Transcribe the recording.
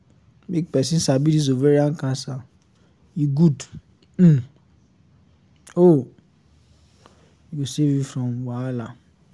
make persin sabi this ovarian cancer e good um oooo e go save you from wahala